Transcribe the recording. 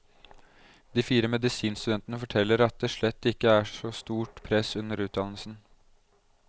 De fire medisinstudentene forteller at det slett ikke er så stort press under utdannelsen.